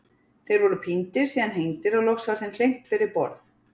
Þeir voru píndir, síðan hengdir og loks var þeim fleygt fyrir borð.